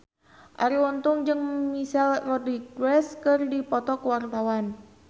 Arie Untung jeung Michelle Rodriguez keur dipoto ku wartawan